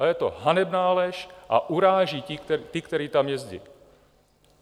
A je to hanebná lež a uráží ty, kteří tam jezdí!